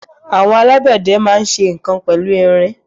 Àwọn alágbẹ̀dẹ dúdú máa ń ṣe nǹkan pẹ̀lú irin.